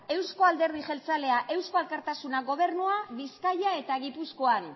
euzko alderdi jeltzalea eusko alkartasuna gobernua bizkaia eta gipuzkoan